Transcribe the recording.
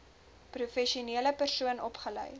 professionele persoon opgelei